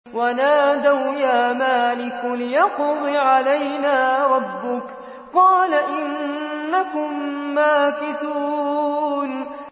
وَنَادَوْا يَا مَالِكُ لِيَقْضِ عَلَيْنَا رَبُّكَ ۖ قَالَ إِنَّكُم مَّاكِثُونَ